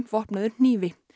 vopnaður hnífi